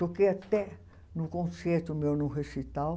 Toquei até num concerto meu, num recital.